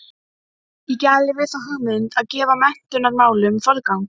Þeir sungu Nú árið er liðið með kampavínsglös í hendi.